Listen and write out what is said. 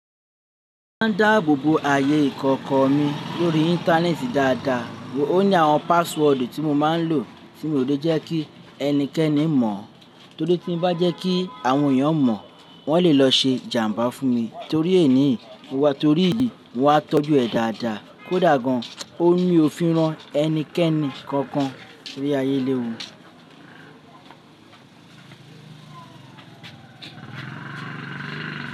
Mo máa ń dáàbò bo ààyè ìkọ̀kọ̀ mi lórí Íńtánẹ́ẹ̀tì dáadáa. Ó ní àwọn páásúọ̀dù tí mo máa ń lò tí mo ò jẹ́ kí ẹnikẹ́ni mọ̀. Torí tí mo bá jẹ́ kí àwọn èèyàn mọ̀, wọ́n lè lọ ṣe jàmbá fún mi. Torí èí ni, mo wá torí ìdí mo wá tọ́jú ẹ̀ dáadáa kó dàgbà gan. Ó rí òfin rán ẹnikẹ́ni kankan ní ayé léwu.